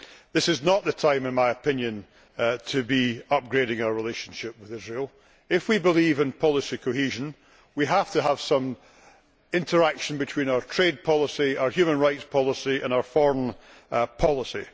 This is not the time, in my opinion, to be upgrading our relationship with Israel. If we believe in policy cohesion, we have to have some interaction between our trade policy, our human rights policy and our foreign policy.